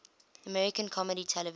american comedy television